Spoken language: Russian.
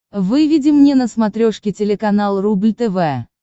выведи мне на смотрешке телеканал рубль тв